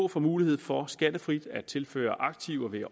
får mulighed for skattefrit at tilføre aktiver ved